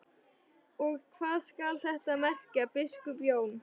Og hvað skal þetta merkja, biskup Jón?